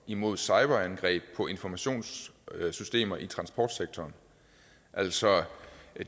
imod cyberangreb på informationssystemer i transportsektoren altså